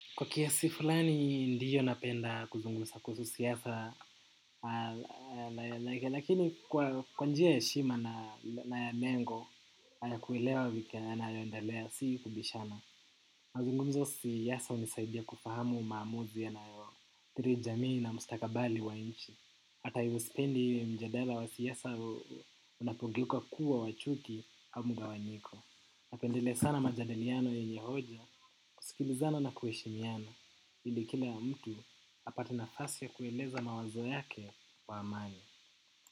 Kwa kiasi fulani ndiyo napenda kuzungumza kuhusu siasa, lakini kwa njia ya heshima na ya mengo na ya kuelewa vipi yanayoendelea si kubishana. Mazungumza siasa hunisaidia kufahamu maamuzi ya nayoathiri jamii na mustakabali wa nchi. Hata hivyo sipendi mjadala wa siasa unapogeuka kuwa wa chuki au mgawanyiko. Napendelea sana majadiliano ya yenye hoja, kusikilizana na kuheshimiana, ili kila mtu apate nafasi ya kueleza mawazo yake kwa amani.